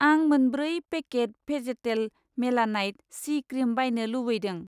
आं मोनब्रै पेकेट भेजेटेल मेलानाइट सि क्रिम बायनो लुबैदों।